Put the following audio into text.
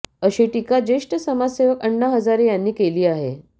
अशी टीका ज्येष्ठ समाजसेवक अण्णा हजारे यांनी केली आहे